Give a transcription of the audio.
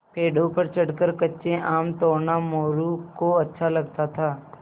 पेड़ों पर चढ़कर कच्चे आम तोड़ना मोरू को अच्छा लगता था